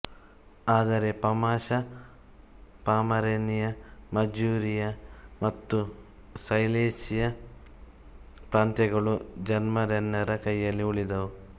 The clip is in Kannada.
ಆದರೆ ಪಾಮಾಷಾ ಪಾಮರೇನಿಯ ಮಜೂರಿಯ ಮತ್ತು ಸೈಲೀಸಿಯ ಪ್ರಾಂತ್ಯಗಳು ಜರ್ಮನ್ನರ ಕೈಯಲ್ಲಿ ಉಳಿದುವು